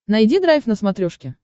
найди драйв на смотрешке